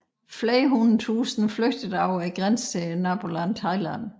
Flere hundrede tusinde flygtede over grænsen til nabolandet Thailand